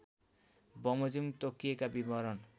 बमोजिम तोकिएका विवरण